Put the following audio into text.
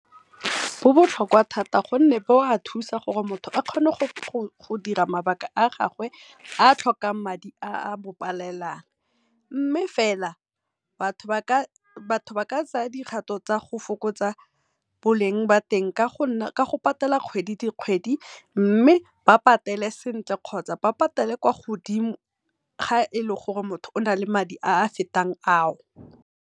Go botlhokwa thata gonne go a thusa gore motho a kgone go dira mabaka a gagwe a tlhokang madi a a mopalelang. Mme fela batho ba ka tsaya dikgatho tsa go fokotsa boleng ba teng ka go patela kgwedi le kgwedi, mme ba patele sentle kgotsa ba patele kwa godimo ga e le gore motho ona le madi a a fetang a o.